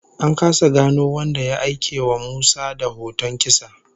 An kasa gano wanda ya aikewa Musa da hoton kisa